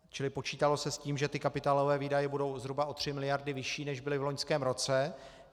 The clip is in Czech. Čili počítalo se s tím, že ty kapitálové výdaje budou zhruba o 3 miliardy vyšší, než byly v loňském roce.